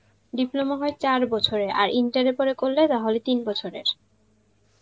diploma হয় চার বছরের, আর inter এর পরে করলে, তাহলে তিন বছরের